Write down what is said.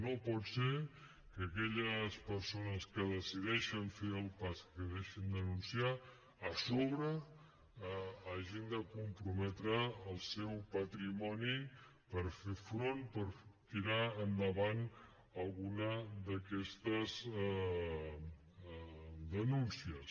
no pot ser que aquelles persones que decideixen fer el pas que decideixen denunciar a sobre hagin de comprometre el seu patrimoni per fer front per tirar endavant alguna d’aquestes denúncies